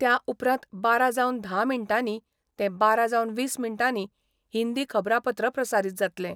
त्या उपरांत बारा जावन धा मिनटांनी ते बारा जावन वीस मिनटांनी हिंदी खबरापत्र प्रसारीत जातले.